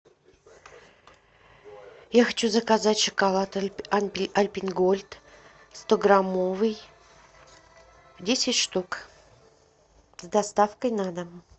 я хочу заказать шоколад альпен гольд стограммовый десять штук с доставкой на дом